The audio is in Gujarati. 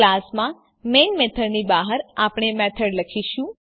ક્લાસમાં મેઇન મેથડની બહાર આપણે મેથડ લખીશું